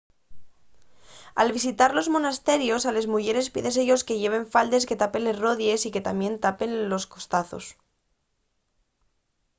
al visitar los monasterios a les muyeres pídese-yos que lleven faldes que tapen les rodíes y que tamién atapen los costazos